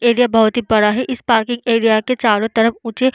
area बहोत ही बड़ा है इस पार्किंग एरिया के चारों तरफ मुझे --